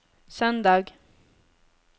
søndag